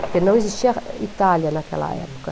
Porque não existia Itália naquela época.